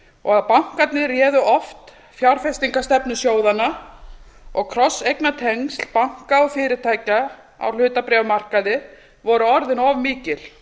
og að bankarnir réðu oft fjárfestingarstefnu sjóðanna og krosseignatengsl banka og fyrirtækja á hlutabréfamarkaði voru orðin of mikil